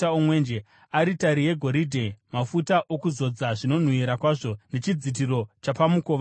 aritari yegoridhe, mafuta okuzodza, zvinonhuhwira kwazvo nechidzitiro chapamukova wetende;